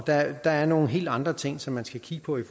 der er nogle helt andre ting som man skal kigge på i